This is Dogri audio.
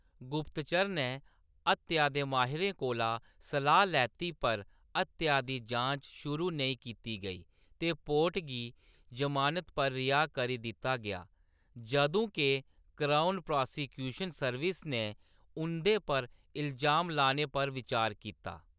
गुप्तचर नै हत्या दे माहिरें कोला सलाह्‌‌ लैती पर हत्या दी जांच शुरू नेईं कीती गेई ते पोर्ट गी ज़मानत पर रिहाऽ करी दित्ता गेआ, जदूं के क्राउन प्रासिक्यूशन सर्विस ने उं'दे पर इलजाम लाने पर बिचार कीता।